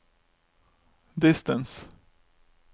distance